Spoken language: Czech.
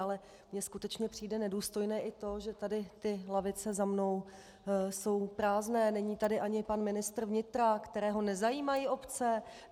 Ale mně skutečně přijde nedůstojné i to, že tady ty lavice za mnou jsou prázdné, není tady ani pan ministr vnitra, kterého nezajímají obce?